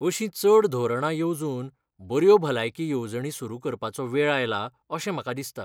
अशीं चड धोरणां येवजून बऱ्यो भलायकी येवजणी सुरू करपाचो वेळ आयला अशें म्हाका दिसता.